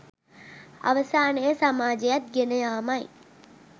අවසානයේ සමාජයත් ගෙනයාමයි.